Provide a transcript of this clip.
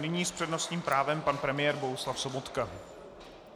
Nyní s přednostním právem pan premiér Bohuslav Sobotka.